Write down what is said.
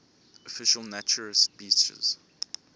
official naturist beaches